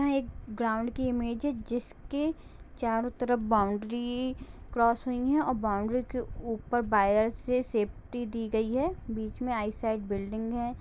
यहाँ एक ग्राउंड की इमेज है जिसके चारों तरफ बॉउंड्री क्रॉस हुई है और बॉउंड्री के ऊपर वायर से सेफ्टी दी गयी है बीच में बिल्डिंग है।